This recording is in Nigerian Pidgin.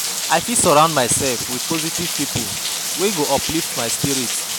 I fit surround myself with positive pipo wey go uplift my spirit.